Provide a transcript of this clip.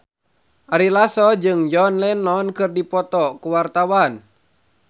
Ari Lasso jeung John Lennon keur dipoto ku wartawan